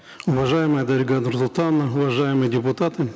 уважаемая дарига нурсултановна уважаемые депутаты